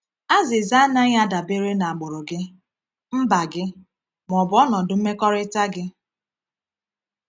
Azịza anaghị adabere n’agbụrụ gị, mba gị, ma ọ bụ ọnọdụ mmekọrịta gị.